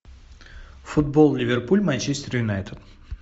футбол ливерпуль манчестер юнайтед